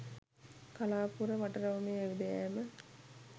කලාපුර වටරවුමේ ඇවිද යෑම